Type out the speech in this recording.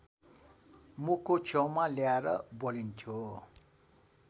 मुखको छेउमा ल्याएर बोलिन्थ्यो